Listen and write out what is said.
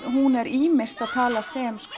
hún er ýmist að tala sem